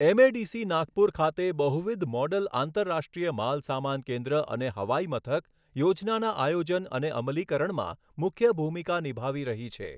MADC Nagpur ખાતે બહુવિધ model આંતરરાષ્ટ્રીય માલસામાન કેન્દ્ર અને હવાઈમથક યોજનાના આયોજન અને અમલીકરણમાં મુખ્ય ભૂમિકા નિભાવી રહી છે.